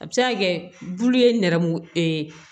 A bɛ se ka kɛ bulu ye nɛrɛmugu